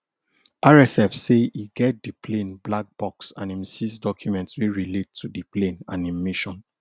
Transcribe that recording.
rsf say e get di plane black box and im seize documents wey relate to di plane and im mission